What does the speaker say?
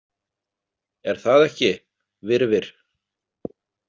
Er það ekki, Virfir?